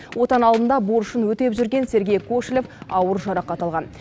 отан алдында борышын өтеп жүрген сергей кошелев ауыр жарақат алған